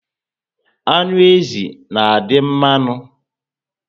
Anụ ezi na adị mmanụ